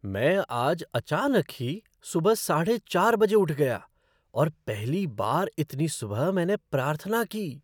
मैं आज अचानक ही सुबह साढ़े चार बजे उठ गया और पहली बार इतनी सुबह मैंने प्रार्थना की।